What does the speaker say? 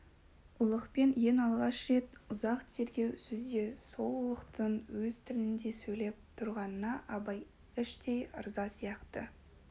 ұлықпен ең алғаш рет ұзақ тергеу сөзде сол ұлықтың өз тілінде сөйлесіп тұрғанына абай іштей ырза сияқты